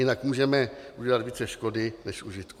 Jinak můžeme udělat více škody než užitku.